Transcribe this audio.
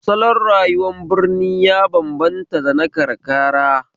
Salon rayuwar birni ya bambanta da na karkara